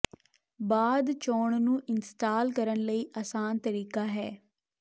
ਬਾਅਦ ਚੋਣ ਨੂੰ ਇੰਸਟਾਲ ਕਰਨ ਲਈ ਆਸਾਨ ਤਰੀਕਾ ਹੈ